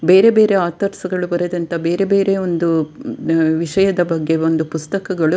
ಬೇರೆ ಬೇರೆ ಆತರ್ಸ್ ಗಳು ಬರೆದಂತ ಬೇರೆ ಬೇರೆ ಒಂದು ಮ್ ವಿಷಯದ ಬಗ್ಗೆ ಒಂದು ಪುಸ್ತಕಗಳು --